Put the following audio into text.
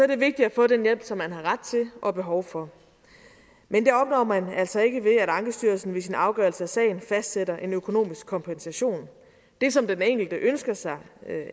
det vigtigt at få den hjælp som man har ret til og behov for men det opnår man altså ikke ved at ankestyrelsen ved sin afgørelse af sagen fastsætter en økonomisk kompensation det som den enkelte ønsker sig